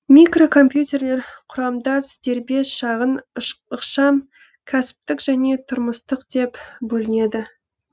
микрокомпьютерлер құрамдас дербес шағын ықшам кәсіптік және тұрмыстық деп бөлінеді